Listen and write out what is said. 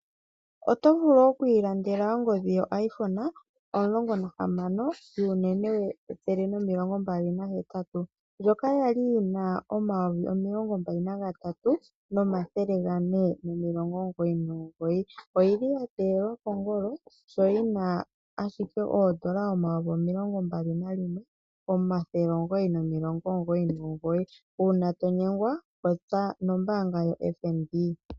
Otovulu okwiilandela ongodhi yo iPhone 16 yunene 128GB, ndjoka yali yina N$23 499 no yili yatekelwa kongolo sho yina ashike N$21 999 uuna otonyengwa popya nombaanga yo FNB.